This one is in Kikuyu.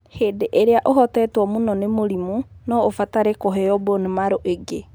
Hĩndĩ ĩrĩa ũhotetwo mũno nĩ mũrimũ, no ũbatare kũheo bone marrow ĩngĩ.